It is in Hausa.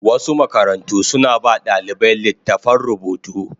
Wasu makarantu suna ba wa ɗalibai littattafan rubutu.